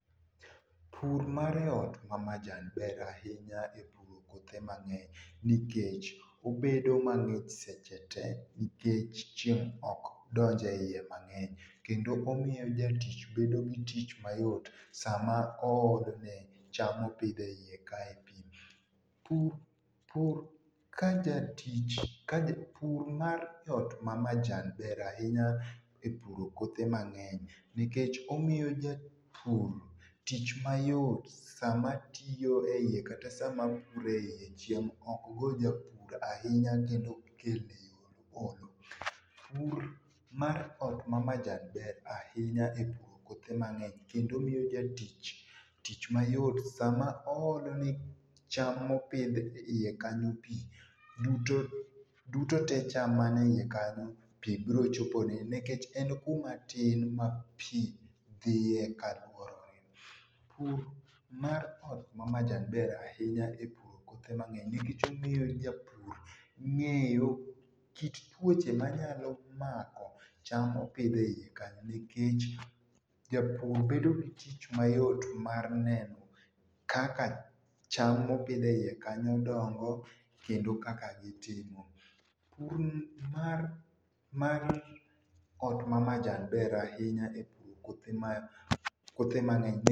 Pur ma ei ot ma majan ber ahinya e puro kothe mang'eny nikech obedo mang'ich sechete nikech chieng' ok donj e iye mang'eny kendo omiyo jatich bedo gi tich mayot sama oolo ne cham mopidh e iye kae pi. Pur kajatich, pur mar ot mar majan ber ahinya e puro kothe mang'eny nikech omiyo japur tich mayot sama tiyo e iye kata sama puro e iye, chieng' ok go japur ahinya kendo ok kel ne olo. Pur mar ot ma majan ber ahinya e puro kothe mang'eny kendo miyo jatich tich mayot sama oolone cham mopidh e iye kanyo pi, dutote cham manie iye kanyo biro yudo pi nikech en kumatin ma pi dhiye kaluorore. Pur mar ot ma majan ber ahinya e puro kothe mang'eny nikech omiyo japur ng'eyo kit tuoche manyalo mako cham mopidh e iye kanyo, nikech japur bedo gi tich mayot mar neno kaka cham mopidh e iye kanyo dongo kendo kaka gitimo. Pur mar ot ma majan ber ahinya ne puothe mang'eny.